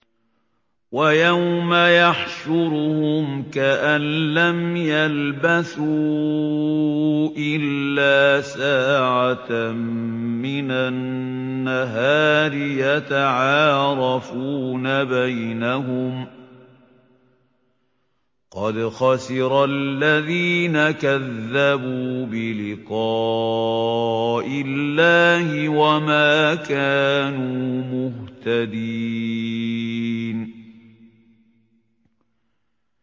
وَيَوْمَ يَحْشُرُهُمْ كَأَن لَّمْ يَلْبَثُوا إِلَّا سَاعَةً مِّنَ النَّهَارِ يَتَعَارَفُونَ بَيْنَهُمْ ۚ قَدْ خَسِرَ الَّذِينَ كَذَّبُوا بِلِقَاءِ اللَّهِ وَمَا كَانُوا مُهْتَدِينَ